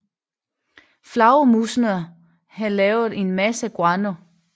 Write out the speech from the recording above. Flagermusene havde lavet en masse guano